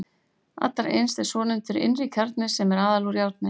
Allra innst er svonefndur innri kjarni sem er aðallega úr járni.